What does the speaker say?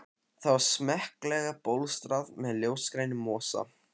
Það var smekklega bólstrað með ljósgrænum mosa.